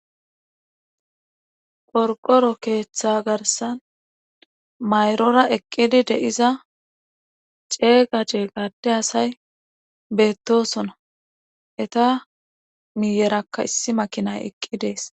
Qorqoro keeththa garssan mayrora eqqiza ceega ceega adde asay beetosona Etta miyerakka isi makinnay eqqides.